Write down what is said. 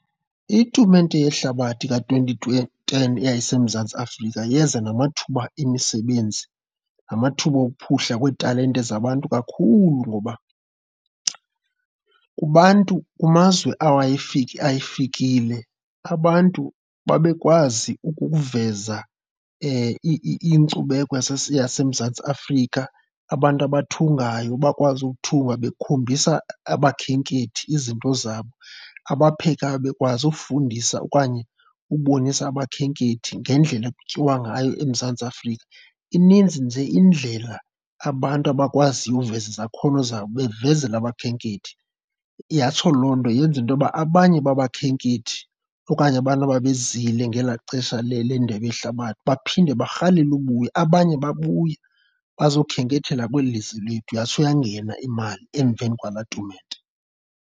Itumente yehlabathi ka-twenty ten yaseMzantsi Afrika yeza namathuba emisebenzi, namathuba ophuhla kweetalente zabantu kakhulu ngoba kubantu kumazwe ayifikile abantu babe bekwazi ukuveza inkcubeko yaseMzantsi Afrika. Abantu abathungayo bakwazi ukuthunga bekhombisa abakhenkethi izinto zabo, abaphekayo bekwazi ufundisa okanye ubonisa abakhenkethi ngendlela ekutyiwa ngayo eMzantsi Afrika. Ininzi nje indlela abantu abakwaziyo uveza izakhono zabo bavezala abakhenkethi, yatsho loo nto yenza intoba abanye babakhenkethi okanye abantu babezile ngelaa xesha lendebe yehlabathi baphinde barhalele ubuya. Abanye babuya bazokhenketha kweli lizwe lethu yatsho yangena imali emveni kwalaa tumente.